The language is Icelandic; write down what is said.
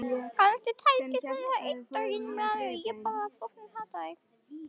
Kannski tækist henni það einn daginn.